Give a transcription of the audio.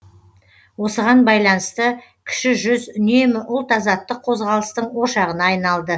осыған байланысты кіші жүз үнемі ұлт азаттық қозғалыстың ошағына айналды